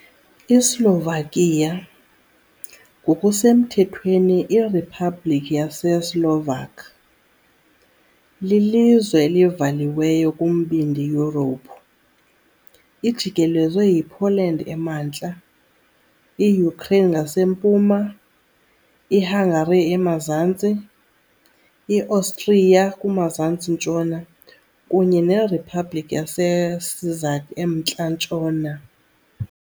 ISlovakia, ngokusemthethweni iRiphabhliki yaseSlovak, lilizwe elivaliweyo kuMbindi Yurophu. Ijikelezwe yiPoland emantla, iUkraine ngasempuma, iHungary emazantsi, iOstriya kumazantsi-ntshona, kunye neRiphabliki yaseCzech emntla-ntshona.